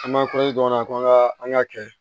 An b'an a la ko an ka an k'a kɛ